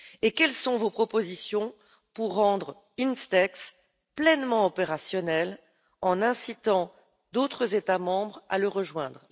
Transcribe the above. Quelles sont vos propositions pour rendre INSTEX pleinement opérationnel en incitant d'autres États membres à le rejoindre?